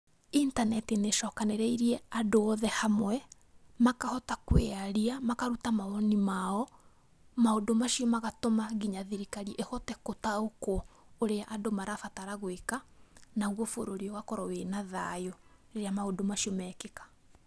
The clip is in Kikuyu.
Intaneti nĩ icokanĩrĩirie andũ othe hamwe, makahota kũĩnyaria, makaruta mawoni mao, maũndũ macio magatũma nginya thirikari ĩhote gũtaũkwo ũrĩa andũ marabatara gwĩka naguo bũrũri ũgakorwo wĩna thayu rĩrĩa maũndũ macio mekĩka.